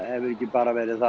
hefur ekki bara verið